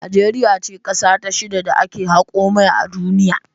Najeriya ce kasa ta shida da ake hako mai a duniya.